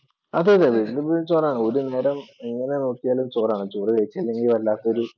അതെതെതെ എൻ്റെ വീട്ടിൽ ചോറാണ് എങ്ങനെ നോക്കിയാലും ചോറാണ്. ചോറ് കഴിച്ചില്ലെങ്കിൽ വല്ലാത്തൊരു